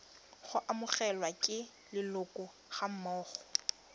go amogelwa ke leloko gammogo